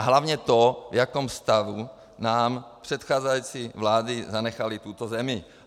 A hlavně to, v jakém stavu nám předcházející vlády zanechaly tuto zemi.